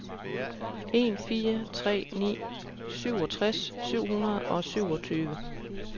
en fire tre ni syvogtres syv hundrede og syvogtyve